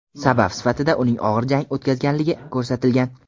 Sabab sifatida uning og‘ir jang o‘tkazganligi ko‘rsatilgan.